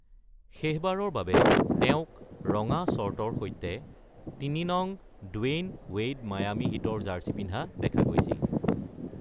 শেষবাৰৰ বাবে তেওঁক ৰঙা শ্বৰ্টৰ সৈতে ৩ নং ড্ৱেইন ৱেইড মায়ামি হিট-ৰ জাৰ্ছি পিন্ধি দেখা গৈছিল।